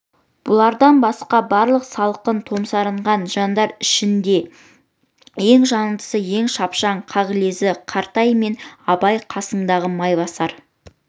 бұлардан басқа барлық салқын томсарған жандар ішінде ең жандысы ең шапшаң қағылезі қаратай мен абай қасындағы майбасар